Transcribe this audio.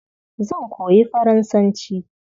Zan koyi Faransanci.